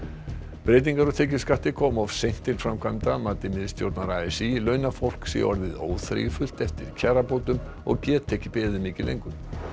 breytingar á tekjuskatti koma of seint til framkvæmda að mati miðstjórnar a s í launafólk sé orðið óþreyjufullt eftir kjarabótum og geti ekki beðið mikið lengur